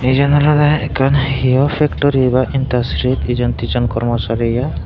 eyen olode ekkan hio pektori baa intastirit eson tison kormo sari eya.